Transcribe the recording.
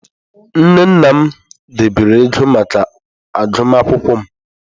Nne na nna m debere ego maka agụmakwụkwọ m.